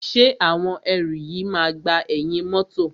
Ṣé àwọn ẹrù yìí máa gba ẹ̀yìn mọ́tọ̀.